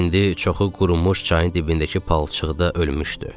İndi çoxu qurumuş çayın dibindəki palçıqda ölmüşdü.